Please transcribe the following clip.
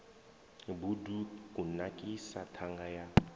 bud u kunakisa ṱhanga ya